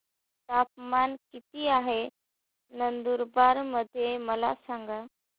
तापमान किता आहे नंदुरबार मध्ये मला सांगा